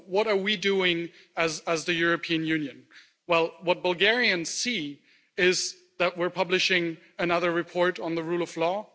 So what are we doing as the European Union? Well, what Bulgarians see is that we are publishing another report on the rule of law.